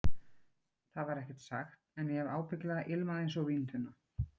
Það var ekkert sagt, en ég hef ábyggilega ilmað einsog víntunna.